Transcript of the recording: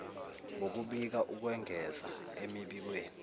ngokubika ukwengeza emibikweni